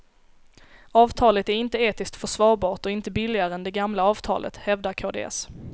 Avtalet är inte etiskt försvarbart och inte billigare än det gamla avtalet, hävdar kds.